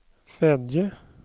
Fedje